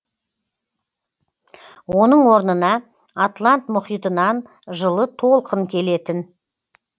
оның орнына атлант мұхитынан жылы толқын келетін